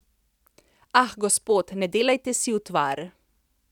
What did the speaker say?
Ah, gospod, ne delajte si utvar!